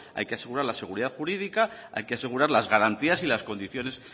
hay que asegurar la seguridad jurídica hay que asegurar las garantías y las condiciones